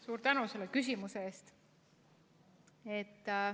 Suur tänu selle küsimuse eest!